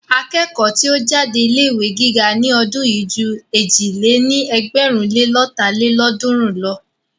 Akẹ́kọ̀ọ́ tí ó jáde ilé ìwé gíga ní ọdún yìí ju èjì lé ní ẹgbẹ̀rún le lọ́ta lélọ́ọ̀dúnrún lọ.